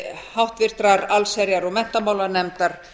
háttvirtrar allsherjar og menntamálanefndar